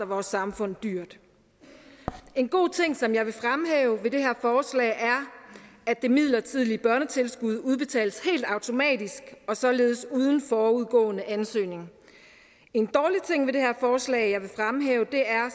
vores samfund dyrt en god ting som jeg vil fremhæve ved det her forslag er at det midlertidige børnetilskud udbetales helt automatisk og således uden forudgående ansøgning en dårlig ting ved det her forslag som jeg vil fremhæve er